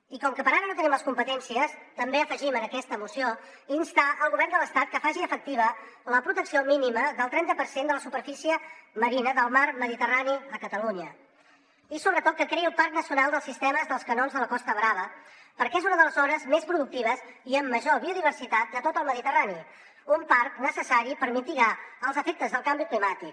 i com que per ara no en tenim les competències també afegim en aquesta moció instar el govern de l’estat que faci efectiva la protecció mínima del trenta per cent de la superfície marina del mar mediterrani a catalunya i sobretot que creï el parc nacional dels sistemes de canons de la costa brava perquè és una de les zones més productives i amb major biodiversitat de tot el mediterrani un parc necessari per mitigar els efectes del canvi climàtic